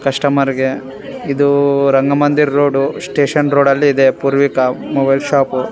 ಕಸ್ಟಮರ್ಗೆ ಇದು Rangamandira road station road ಅಲ್ಲಿದೆ ಪೂರ್ವಿಕ ಮೊಬೈಲ್ ಶೋಪ್ .